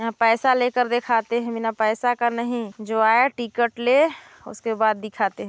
यहाँ पैसा लेकर दिखाते है बिना पैसा का नहीं जो आए टिकट ले उसके बाद दिखाते हैं।